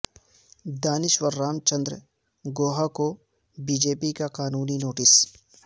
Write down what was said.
دانشور رام چندر گوہا کو BJP کا قانونی نوٹس